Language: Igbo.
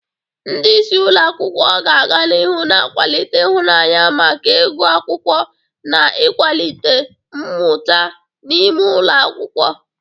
Ndị isi ụlọ akwụkwọ ga-aga n'ihu na-akwalite ịhụnanya maka ịgụ akwukwo na ịkwalite mmuta n'ime ụlọ akwụkwọ.